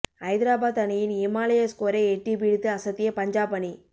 ஐதராபாத் அணியின் இமாலய ஸ்கோரை எட்டிப் பிடித்து அசத்திய பஞ்சாப் அணி